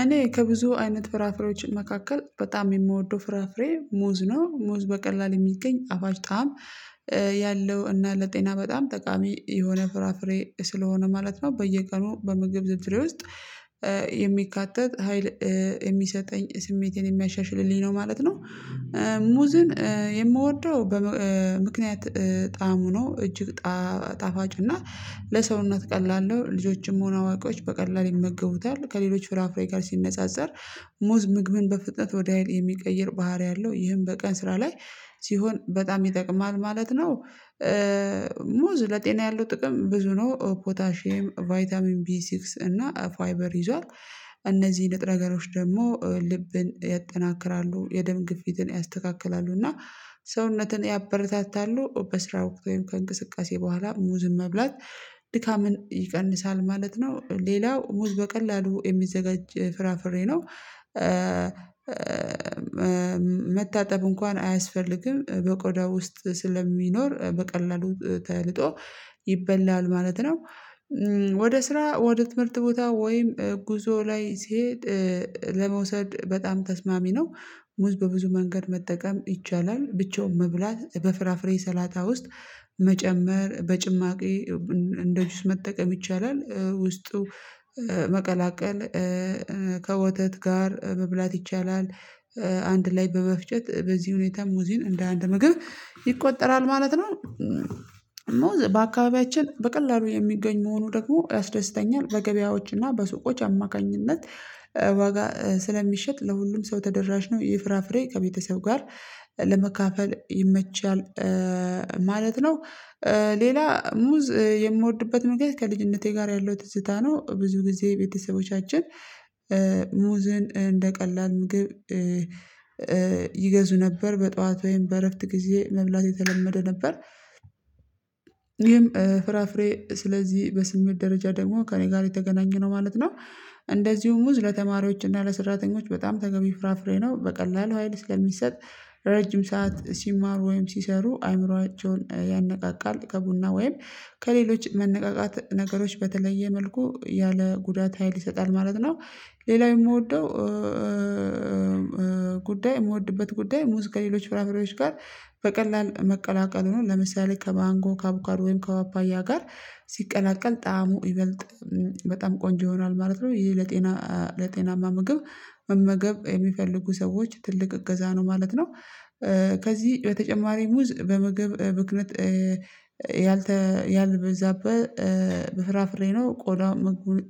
እኔ ከብዙ አይነት ፍራፍሬዎች መካከል በጣም የምወደው ፍራፍሬ ሙዝ ነው ሙዝ በቀላል የሚገኝ ጣፋጭ ጣዕም ያለው እና ለጤና በጣም ጠቃሚ የሆነ ፍራፍሬ ስለሆነ ማለት ነው። በየቀኑ በምግብ ዝርዝሬ ውስጥ የሚካተት ሀይል የሚሰጠኝ ስሜቴን የሚያሻሽልልኝ ነው ማለት ነው። ሙዝን የምወደው በም ምክንያት ጣዕሙ ሆኖ እጅግ ጣ ጣፋጭ እና ለሰውነት ቀላል ነው ልጆችም ሆነ አዋቂዎች በቀላሉ ይመገቡታል ከሌሎች ፍራፍሬ ጋር ሲነጻጸር ሙዝ ምግብን በፍጥነት ወደ ሀይል የሚቀይር ባህሪ አለው ይህን በቀን ስራ ላይ ሲሆን በጣም ይጠቅማል ማለት ነው። ሙዝ ለጤና ያለው ጥቅም ብዙ ነው ፖታሺየም ቫይታሚን ቢሲክስ እና ፋይበር ይዟል እነዚህ ንጥረ ነገሮች ደግሞ ልብን ያጠናክራሉ የደም ግፊትን ያስተካክላሉ እና ሰውነትን ያበረታታሉ በስራ ወቅታዊ ከእንቅስቃሴ በኋላ ሙዝን መብላት ድካምን ይቀንሳል ማለት ነው። ሌላው ሙዝ በቀላሉ የሚዘጋጅ ፍራፍሬ ነው። መታጠብ እንኳን አያስፈልግም በቆዳው ውስጥ ስለሚኖር በቀላሉ ተልጦ ይበላል ማለት ነው። ወደ ስራ ወደ ትምህርት ቦታ ወይም ጉዞ ላይ ሲሄድ ለመውሰድ በጣም ተስማሚ ነው። ሙዝ በብዙ መንገድ መጠቀም ይቻላል ብቻውን መብላት በፍራፍሬ ሰላጣ ውስጥ መጨመር በጭማቂ እንደ ጅስ መጠቀም ይቻላል ውስጡ መቀላቀል ከወተት ጋር መብላት ይቻላል አንድ ላይ በመፍጨት በዚህ ሁኔታ ሙዝን እንደ አንድ ምግብ ይቆጠራል ማለት ነው። ሙዝ በአካባቢያችን በቀላሉ የሚገኝ መሆኑ ደግሞ ያስደስተኛል በገበያዎች እና በሱቆች አማካኝነት ዋጋ ስለሚሸጥ ለሁሉም ሰው ተደራሽ ነው ይህ ፍራፍሬ ከቤተሰብ ጋር ለመካፈል ይመቻል ማለት ነው። ሌላ ሙዝ የምወድበት መንገድ ከልጅነቴ ጋር ያለው ትዝታ ነው ብዙ ጊዜ ቤተሰቦቻችን ሙዝን እንደ ቀላል ምግብ ይገዙ ነበር በጧት ወይም በእረፍት ጊዜ መብላት የተለመደ ነበር ይሄም ፍራፍሬ ስለዚህ በስሜት ደረጃ ደግሞ ከእኔ ጋር የተገናኘነው ማለት ነው። እንደዚሁም ሙዝ ለተማሪዎች እና ለሰራተኞች በጣም ተገቢ ፍራፍሬ ነው በቀላሉ ሀይል ስለሚሰጥ ረጅም ሰዓት ሲማሩ ወይም ሲሰሩ አእምሮአቸውን ያነቃቃል ከቡና ወይም ከሌሎች መነቃቃት ነገሮች በተለየ መልኩ ያለ ጉዳት ሀይል ይሰጣል ማለት ነው። ሌላው የምወደው ጉዳይ የምወድበት ጉዳይ ሙዝ ከሌሎች ፍራፍሬዎች ጋር በቀላል መቀላቀሉን ለምሳሌ ከማንጎ ከአቦካዳ ወይም ከፓፓያ ጋር ሲቀላቀል ጣዕሙ ይበልጥ በጣም ቆንጆ ይሆናል ማለት ነው ይሄ ለጤና ለጤናማ ምግብ መመገብ የሚፈልጉ ሰዎች ትልቅ እገዛ ነው ማለት ነው። ከዚህ በተጨማሪ ሙዝ በምግብ ብክነት ያልተ ያልበዛበት በፍራፍሬ ነው ቆዳ ምግቡን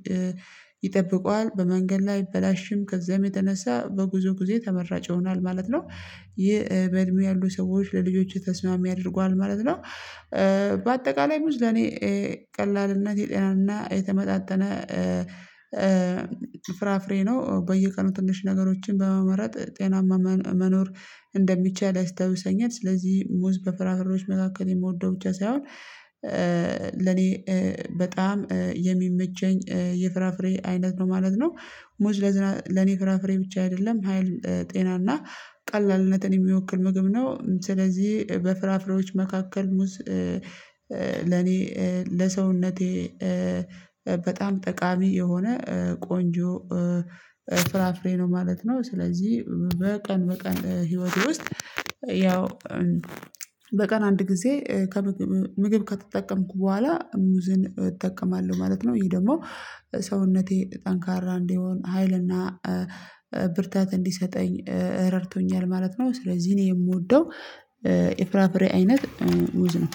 ይጠብቀዋል በመንገድ ላይ አይበላሽም ከዚያም የተነሳ በጉዞ ጊዜ ተመራጭ ይሆናል ማለት ነው። ይህ በእድሜ ያሉ ሰዎች ለልጆቼ ተስማሚ ያደርገዋል ማለት ነው። በአጠቃላይ ሙዝ ለኔ ቀላልነት የጤናና የተመጣጠነ ፍራፍሬ ነው በየቀኑ ትንሽ ነገሮችን በመመረጥ ጤናማ መኖር እንደሚቻል ያስታውሰኛል ስለዚህ ሙዝ በፍራፍሬዎች መካከል የምወደው ብቻ ሳይሆን ለኔ በጣም የሚመቸኝ የፍራፍሬ አይነት ነው ማለት ነው። ሙዝ ለዝና ለኔ ፍራፍሬ ብቻ አይደለም ሀይል ጤና እና ቀላልነትን የሚወክል ምግብ ነው ስለዚህ በፍራፍሬዎች መካከል ሙዝ ለኔ ለሰውነቴ በጣም ጠቃሚ የሆነ ቆንጆ ፍራፍሬ ነው ማለት ነው። ስለዚህ በቀን በቀን ህይወቴ ውስጥ ያው በቀን አንድ ጊዜ ከምግብ ምግብ ከተጠቀምኩ በኋላ ሙዝን እጠቀማለሁ ማለት ነው ይሄ ደግሞ ሰውነቴ ጠንካራ እንዲሆን ሀይልና ብርታት እንዲሰጠኝ ረድቶኛል ማለት ነው። ስለዚህ እኔ የምወደው የፍራፍሬ አይነት ሙዝ ነው።